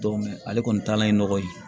ale kɔni taalan ye nɔgɔ ye